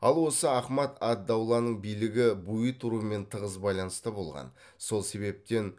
ал осы ахмад ад дауланың билігі буид руымен тығыз байланыста болған сол себептен